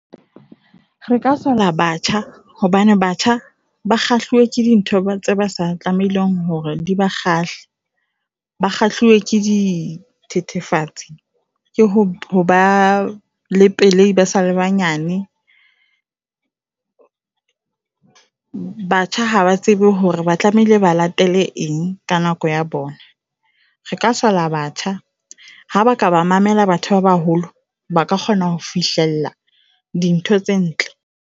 Re ka sola batjha hobane batjha ba kgahliwe ke di ntho tse ba sa tlamehileng hore di ba kgale. Ba kgahlilwe ke dithethefatsi le ho ho ba le pelei ba sa le banyane. Batjha ha ba tsebe hore ba tlamehile ba latele eng ka nako ya bona. Re ka sola batjha ha ba ka ba mamela batho ba baholo ba ka kgona ho fihlella dintho tse ntle.